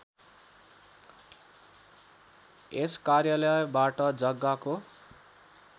यस कार्यालयबाट जग्गाको